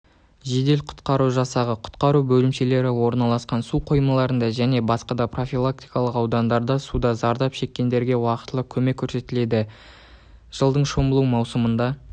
жедел құтқару жасағы құтқару бөлімшелері орналасқан су қоймаларында және басқа да профилактикалық аудандарда суда зардап шеккендерге уақтылы көмек көрсетіледі жылдың шомылу маусымында